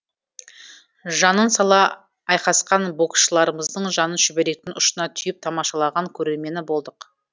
жанын сала айқасқан боксшыларымыздың жанын шүберектің ұшына түйіп тамашалаған көрермені болдық